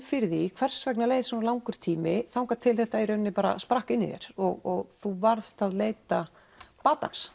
fyrir því hvers vegna það leið svona langur tími þangað til þetta í rauninni sprakk inn í þér og þú varðst að leita batans